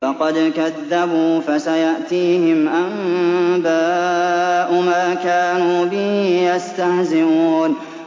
فَقَدْ كَذَّبُوا فَسَيَأْتِيهِمْ أَنبَاءُ مَا كَانُوا بِهِ يَسْتَهْزِئُونَ